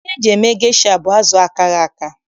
Ihe eji eme gesha bụ azụ akaghị aka.